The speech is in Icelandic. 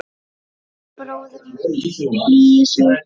Og bróðir minn hlýju Sofíu.